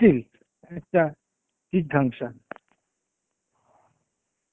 still একটা জিঘাংসা.